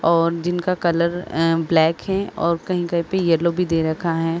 और जिनका colour and black है और कही कही पे येलो भी दे रखा है।